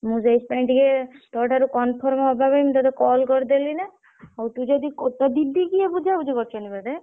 ମୁଁ ସେଇଥିପାଇଁ ଟିକେ ତୋ ଠାରୁ conform ହବା ପାଇଁ ମୁଁ ତତେ call କରିଦେଲି ନା ହଉ ତୁ ଯଦି ତୋ ଦିଦି କିଏ ବୁଝାବୁଝି କରୁଛନ୍ତି ବୋଧେ?